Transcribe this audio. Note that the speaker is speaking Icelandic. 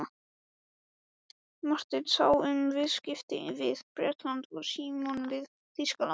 Marteinn sá um viðskipti við Bretland og Símon við Þýskaland.